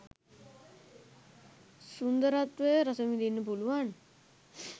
සුන්දරත්වය රසවිඳින්න පුලුවන්